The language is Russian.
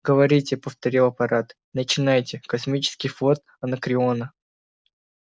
говорите повторил апорат начинайте космический флот анакреона